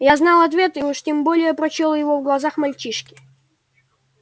я знал ответ и уж тем более прочёл его в глазах мальчишки